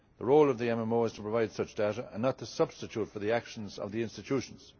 The role of the MMO is to provide such data and not to substitute for the actions of the institutions.